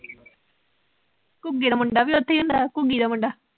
ਘੁੱਗੇ ਦਾ ਮੁੰਡਾ ਵੀ ਉਥੇ ਈ ਹੁੰਦਾ, ਘੁਗੀ ਦਾ ਮੁੰਡਾ